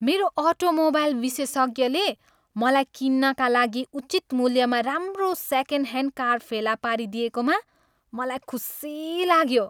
मेरो अटोमोबाइल विशेषज्ञले मलाई किन्नका लागि उचित मूल्यमा राम्रो सेकेन्डह्यान्ड कार फेला पारिदिएकोमा मलाई खुसी लाग्यो।